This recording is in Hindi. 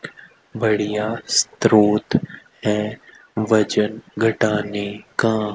बढ़िया स्रोत है वजन घटाने का।